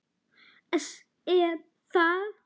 ES Er það?